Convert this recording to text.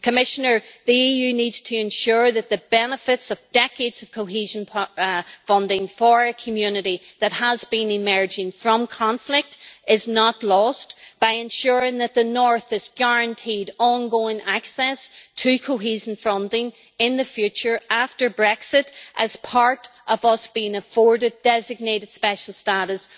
Commissioner, the EU needs to ensure that the benefits of decades of cohesion funding for a community that has been emerging from conflict are not lost, by ensuring that the north is guaranteed ongoing access to cohesion funding in the future after Brexit, as part of us being afforded designated special status,